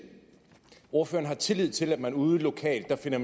ordføreren har tillid til at man ude lokalt finder